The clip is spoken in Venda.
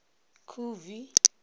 khubvi